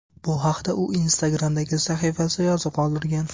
Bu haqda u Instagram’dagi sahifasida yozib qoldirgan .